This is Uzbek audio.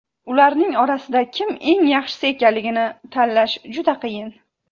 Ularning orasida kim eng yaxshisi ekanligini tanlash juda qiyin.